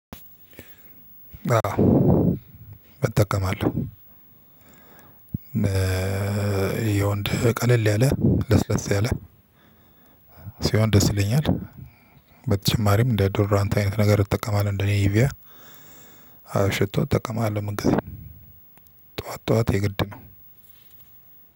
አዎ እጠቀማለሁ። የወንድ ቀለል ያለ ለስለስ ያለ- ሲሆን ደስ ይለኛል። በተጨማሪም እንደ ዶድራንት አይነት ነገር እጠቀማለሁ እንደ ኔቪያ። አዎ ሽቶ እጠቀማለሁ። መንገድ ጠዋት የግድ ነው።